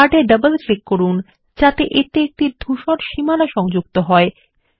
chart এ double click করুন যাতে এতে একটি ধূসর সীমানা সংযুক্ত হয়